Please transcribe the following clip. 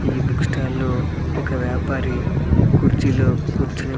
ఈ book stall లో ఒక వ్యాపారి కుర్చీలో కూర్చొని --